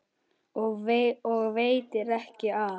Og veitir ekki af!